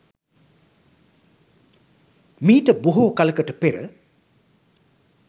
මීට බොහෝ කලකට පෙර